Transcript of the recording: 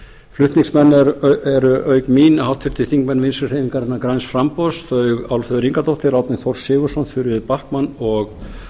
flutningsmenn eru auk mín háttvirtir þingmenn vinstri hreyfingarinnar græns framboðs þau álfheiður ingadóttir árni þór sigurðsson þuríður backman og